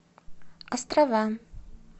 острова